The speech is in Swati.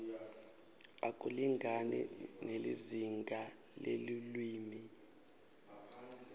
akulingani nelizingaa lelulwimi